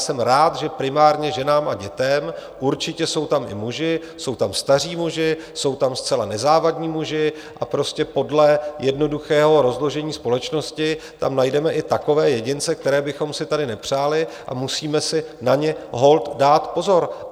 Jsem rád, že primárně ženám a dětem, určitě jsou tam i muži, jsou tam staří muži, jsou tam zcela nezávadní muži, a prostě podle jednoduchého rozložení společnosti tam najdeme i takové jedince, které bychom si tady nepřáli, a musíme si na ně holt dát pozor.